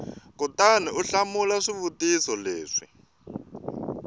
kutani u hlamula swivutiso leswi